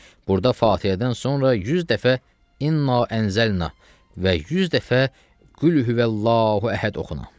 Burda Fatiədən sonra 100 dəfə "İnna ənzəlnahu" və 100 dəfə "Qul huvəllahu əhəd" oxuna.